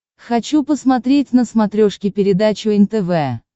хочу посмотреть на смотрешке передачу нтв